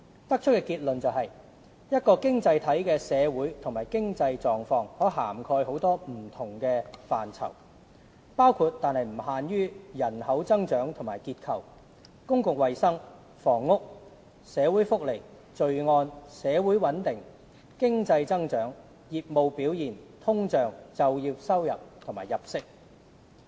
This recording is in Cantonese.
得出的結論是，一個經濟體的"社會和經濟狀況"可涵蓋很多不同範疇，包括但不限於人口增長與結構、公共衞生、房屋、社會福利、罪案、社會穩定、經濟增長、業務表現、通脹、就業收入和入息。